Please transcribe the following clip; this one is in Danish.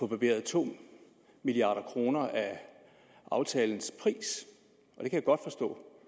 barberet to milliard kroner af aftalens pris og jeg kan godt forstå